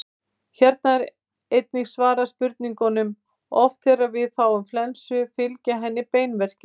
Hér er einnig svarað spurningunum: Oft þegar við fáum flensu fylgja henni beinverkir.